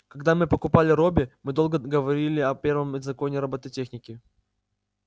когда мы покупали робби мы долго говорили о первом законе робототехники